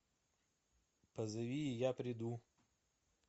позови и я приду